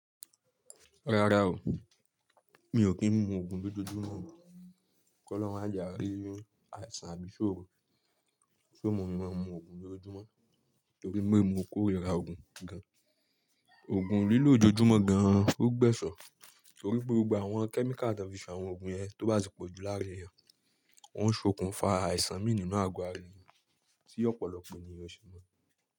Rárá o, mi ò kí ń mu òògùn lójoojúmọ́. Kọ́ olorun máa jẹ àìrí, àìsàn àbí isoro ti ó mu mi máa mu òògùn lójoojúmọ́. Nítorí pe mò kórira òògùn gan. Òògùn lílò ojoojúmọ́ gan o gbẹ̀so nítorí gbogbo àwọn kẹ́míkà tan fi se àwọn òògùn yẹn tó bá ti pọ̀jù láàra èèyàn, ó ń ṣokùnfà àìsàn mí nínú àgọ́ ara èèyàn tí ọ̀pọ̀lọpọ̀ ènìyàn ṣì mọ́